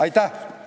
Aitäh!